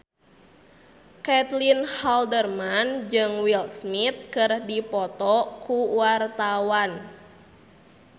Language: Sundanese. Caitlin Halderman jeung Will Smith keur dipoto ku wartawan